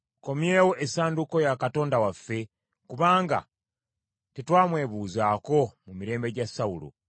Tukomyewo essanduuko ya Katonda waffe, kubanga tetwamwebuuzangako mu mirembe gya Sawulo.”